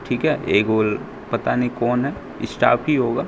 ठीक है ये गोल पता नहीं कौन है स्टॉप ही होगा।